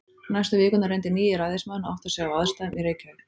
Næstu vikurnar reyndi nýi ræðismaðurinn að átta sig á aðstæðum í Reykjavík.